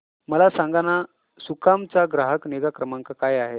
मला सांगाना सुकाम चा ग्राहक निगा क्रमांक काय आहे